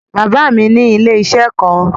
Bàbá mi ní ilé-iṣẹ́ kan.